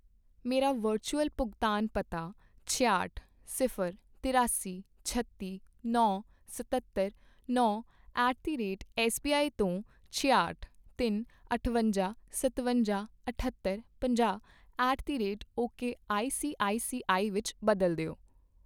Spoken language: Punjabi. ਮੇਰਾ ਵਰਚੁਅਲ ਭੁਗਤਾਨ ਪਤਾ ਛਿਆਹਠ, ਸਿਫ਼ਰ, ਤਿਰਾਸੀ, ਛੱਤੀ, ਨੌ, ਸਤੱਤਰ, ਨੌ ਐਟ ਦੀ ਰੇਟ ਐੱਸਬੀਆਈ ਤੋਂ ਛਿਆਹਟ, ਤਿੰਨ, ਅਠਵੰਜਾ, ਸਤਵੰਜਾ, ਅਠੱਤਰ, ਪੰਜਾਹ at the rate okay ICICI ਵਿੱਚ ਬਦਲ ਦਿਓ